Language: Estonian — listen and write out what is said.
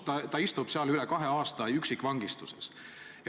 Ta on istunud seal üle kahe aasta üksikvangistuses.